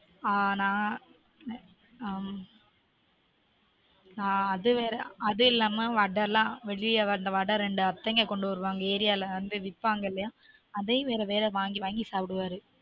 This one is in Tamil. ஆன் நான் ஆன் ஆம அது வேற அதுஇல்லாமா வடை எல்லான் வெளிய வந்து ரெண்டு அத்தைங்க கொண்டு வருவாங்க விப்பாங்க ஏரியா விப்பங்கலையாஅதயும் வேற வேற வாங்கி வாங்கி சாப்டுவாரு